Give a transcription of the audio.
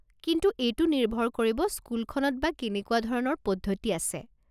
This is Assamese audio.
কিন্তু এইটো নিৰ্ভৰ কৰিব স্কুলখনত বা কেনেকুৱা ধৰণৰ পদ্ধতি আছে।